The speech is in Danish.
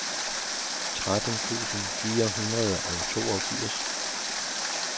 tretten tusind fire hundrede og toogfirs